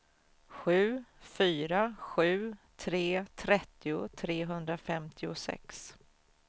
sju fyra sju tre trettio trehundrafemtiosex